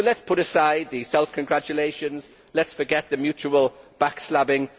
it. So let us put aside the self congratulations and let us forget the mutual backstabbing.